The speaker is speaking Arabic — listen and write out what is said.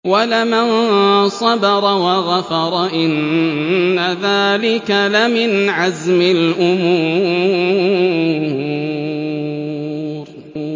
وَلَمَن صَبَرَ وَغَفَرَ إِنَّ ذَٰلِكَ لَمِنْ عَزْمِ الْأُمُورِ